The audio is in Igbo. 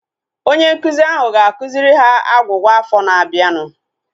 Onye nkụzi ahụ ga-akụziri ha agwugwa afọ na-abianu